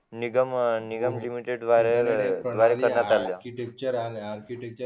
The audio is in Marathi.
निगम लिमिटेड द्वारे करण्यात आल्या